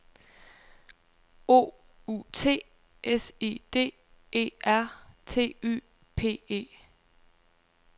O U T S I D E R T Y P E